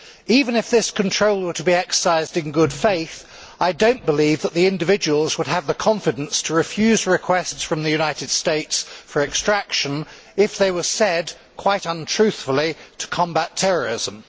Even if this control were to be exercised in good faith, I do not believe that the individuals would have the confidence to refuse requests from the United States for extraction if they were said, quite untruthfully, to combat terrorism.